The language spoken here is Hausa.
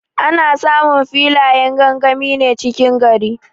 Ana samun filayen gangami ne cikin gari.